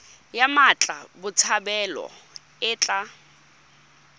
ya mmatla botshabelo e tla